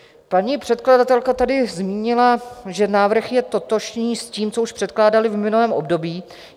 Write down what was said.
Paní předkladatelka tady zmínila, že návrh je totožný s tím, co už předkládali v minulém období.